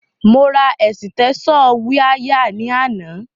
Mo ra ẹ̀sìtẹ́ṣọ̀ wiáyà ní àná.